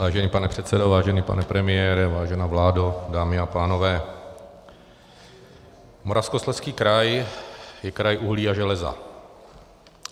Vážený pane předsedo, vážený pane premiére, vážená vládo, dámy a pánové, Moravskoslezský kraj je kraj uhlí a železa.